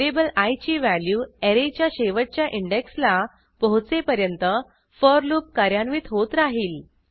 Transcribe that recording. variable I ची value ऍरेच्या शेवटच्या इंडेक्सला पोहोचेपर्यंत फोर लूप कार्यान्वित होत राहिल